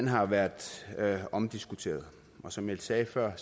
har været omdiskuteret og som jeg sagde før